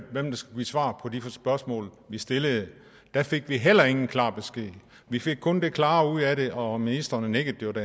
svar på de spørgsmål vi stillede der fik vi heller ingen klar besked vi fik kun det klare ud af det og ministeren nikkede